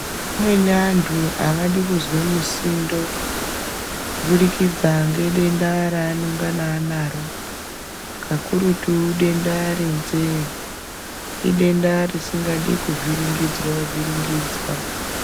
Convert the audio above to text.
Amweni antu avadi kuzwe musindo kubudikidza ngedenda raanenge anaro kakurutu denda renzee idenda risikadi kuvhiringidzwa vhiringidzwa.